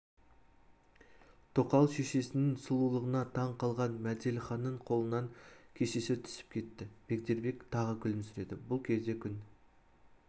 тоқал шешесінің сұлулығына таң қалған мәделіханның қолынан кесесі түсіп кетті бегдербек тағы күлімсіреді бұл кезде күн